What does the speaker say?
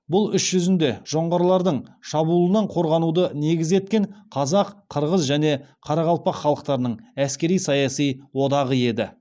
бұл іс жүзінде жоңғарлардың шабуылынан қорғануды негіз еткен қазақ қырғыз және қарақалпақ халықтарының әскери саяси одағы еді